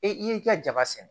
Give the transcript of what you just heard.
E y'i ka jaba sɛnɛ